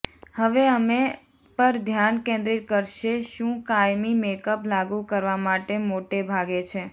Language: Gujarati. હવે અમે પર ધ્યાન કેન્દ્રિત કરશે શું કાયમી મેકઅપ લાગુ કરવા માટે મોટે ભાગે છે